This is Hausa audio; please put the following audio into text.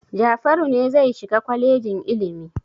Jafaru ne zai shiga kwalejin ilimi.